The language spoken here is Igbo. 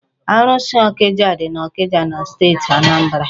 Arụsị ọkịja dị n'Ọkịja na steeti Anambra.